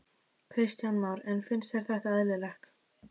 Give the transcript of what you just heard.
Kristján Már: En finnst þér þetta eðlilegt?